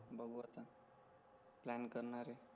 बघू आता प्लॅन करणार आहे